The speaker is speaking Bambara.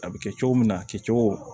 A bɛ kɛ cogo min na a kɛcogo